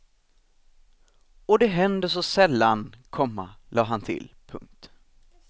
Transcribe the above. Och det händer så sällan, komma lade han till. punkt